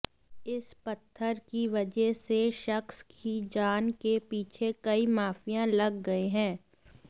इस पत्थर की वजह से शख्स की जान के पीछे कई माफिया लग गए हैं